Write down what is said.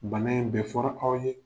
Bana in bɛɛ fɔra aw ye.